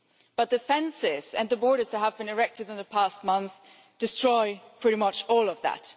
But the fences and the borders that have been erected in the past month destroy pretty much all of that.